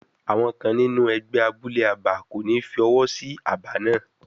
Àwọn kan nínú ẹgbẹ́ abúlé abà kò ní fi ọwọ́ sí aba náà.